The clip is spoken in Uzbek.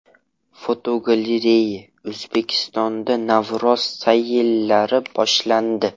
Fotogalereya: O‘zbekistonda Navro‘z sayllari boshlandi.